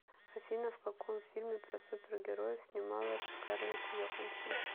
афина в каком фильме про супер героев снималась скарлетт йоханссон